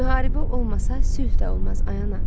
Müharibə olmasa, sülh də olmaz, ay ana.